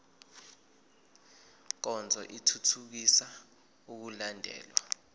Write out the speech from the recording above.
nkonzo ithuthukisa ukulandelwa